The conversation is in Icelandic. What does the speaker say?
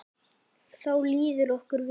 Þá líður okkur vel.